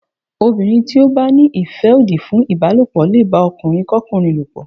Obìnrin tí ó bá ní ìfẹ́ òdì fún ìbálòpọ̀ lè bá ọkùnrin kọ́kùnrin lòpọ̀.